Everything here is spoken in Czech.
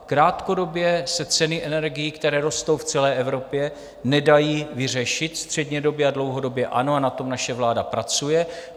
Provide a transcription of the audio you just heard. Krátkodobě se ceny energií, které rostou v celé Evropě, nedají vyřešit, střednědobě a dlouhodobě ano a na tom naše vláda pracuje.